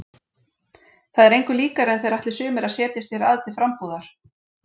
Það er engu líkara en þeir ætli sumir að setjast hér að til frambúðar.